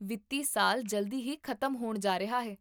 ਵਿੱਤੀ ਸਾਲ ਜਲਦੀ ਹੀ ਖ਼ਤਮ ਹੋਣ ਜਾ ਰਿਹਾ ਹੈ